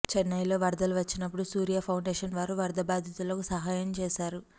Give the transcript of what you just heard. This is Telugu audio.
చెన్నై లో వరదలు వచ్చినప్పుడు సూర్య ఫౌండేషన్ వారు వరద భాదితులకు సహాయం చేసారు